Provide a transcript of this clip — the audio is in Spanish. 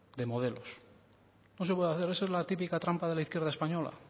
de modelos no se puede hacer esa es la típica trampa de la izquierda española